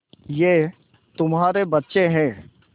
ये तुम्हारे बच्चे हैं